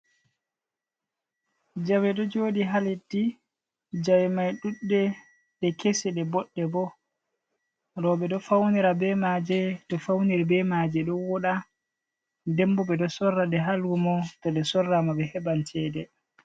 Jawe ɗo joɗi ha leɗɗi jawe mai ɗuɗɗe ɗe kese ɗe boɗɗe bo, roɓɓe do faunira be maje ɗo fauniri be maje ɗo woɗa dembo ɓeɗo sorra de ha lumo to & e sorrama be heban cede.